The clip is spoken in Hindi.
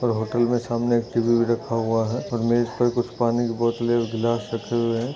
और होटल में सामने एक टी_वी भी रखा हुआ हैऔर मेज पर कुछ पानी की बोतलें और ग्लास रखे हुए हैं।